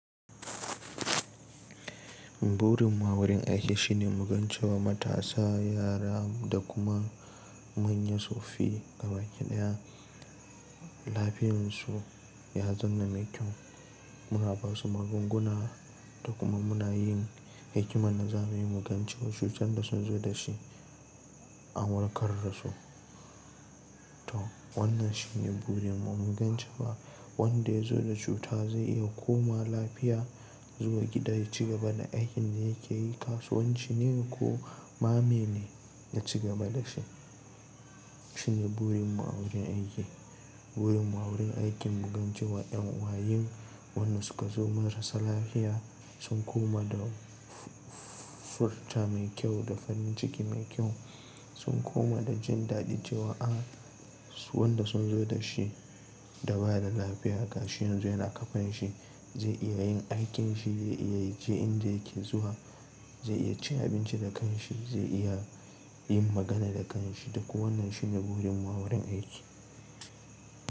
Burin mu a wurin aiki shine mugan cewa matasa, yara da kuma manya su fi ga baki ɗaya. Lafiyarsu ya zama mai kyau. Muna ba su magunguna da kuma muna yin hikiman dazamuyi mugance wa cutar da sun zo da shi an warkar da su. To wannan shine burin mu. Mugan cewa wanda ya zo da cuta zai iya koma lafiya zuwa gida ya ci gaba da aikin da yake yi. Kasuwanci ne ko mamene ya ci gaba da shi. Shine burin mu a wurin aiki. Burin mu a wurin aikin mugance wa en wayen wannan suka zo marasa lafiya sun koma da furta mai kyau da farin ciki mai kyau. Sun koma da jin daɗi cewa a wanda sun zo da shi da ba da lafiya gashi yanzu yana kafan shi zai iya yin aikin shi, zai iya je inda yake zuwa, zai iya ci abinci da kan shi, zai iya yin magana da kan shi, da kuma wannan shine burin mu a wurin aiki.